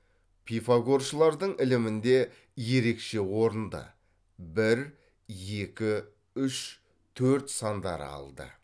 пифагоршылардың ілімінде ерекше орынды бір екі үш төрт сандары алды